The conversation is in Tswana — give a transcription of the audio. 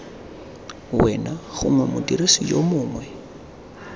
wena gongwe modirisi yo mongwe